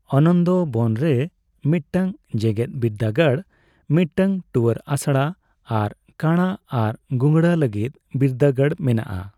ᱟᱱᱚᱱᱫᱵᱚᱱ ᱨᱮ ᱢᱤᱫᱴᱟᱝ ᱡᱮᱜᱮᱛ ᱵᱤᱨᱫᱟᱹᱜᱟᱲ, ᱢᱤᱫᱴᱟᱝ ᱛᱩᱣᱟᱹᱨ ᱟᱥᱲᱟ ᱟᱨ ᱠᱟᱬᱟ ᱟᱨ ᱜᱩᱜᱲᱟᱹ ᱞᱟᱹᱜᱤᱫ ᱵᱤᱨᱫᱟᱹᱜᱟᱲ ᱢᱮᱱᱟᱜᱼᱟ ᱾